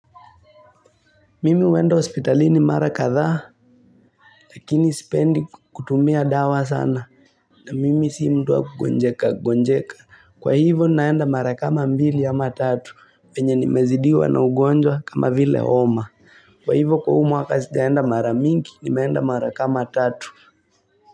Mimi huenda hospitalini mara kadhaa Lakini sipendi kutumia dawa sana na mimi si mtu wa kugonjeka gonjeka Kwa hivyo naenda mara kama mbili ama tatu venye nimezidiwa na ugonjwa kama vile homa Kwa hivyo kuumwa sijaeenda mara mingi nimeenda mara kama tatu.